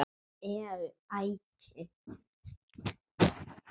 Lemur tækið.